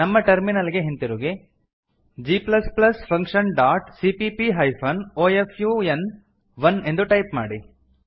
ನಮ್ಮ ಟರ್ಮಿನಲ್ ಗೆ ಹಿಂತಿರುಗಿ G plus plus function dot CPP hyphen O F U N one ಎಂದು ಟೈಪ್ ಮಾಡಿ